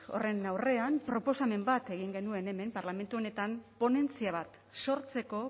horren aurrean proposamen bat egin genuen hemen parlamentu honetan ponentzia bat sortzeko